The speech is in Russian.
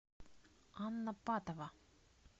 анна патова